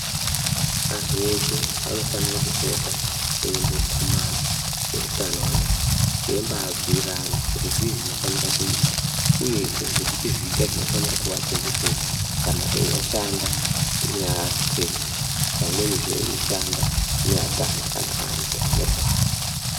Antu eshe anofanire kupota eimbo kumana eutano anaya. Eimba bhuirana kuti zvii zvinofanira kuitwa, uyezve nezvipi zviga zvinofanira kuvachetedza kana eiashanda neapwere, pamweni zveishanda neatana kana antu anorwara.